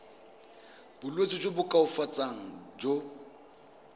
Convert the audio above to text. bolwetsi jo bo koafatsang jo